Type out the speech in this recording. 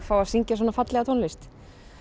fá að syngja svona fallega tónlist